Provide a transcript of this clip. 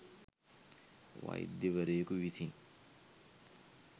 වෛද්‍යවරයෙකු විසින්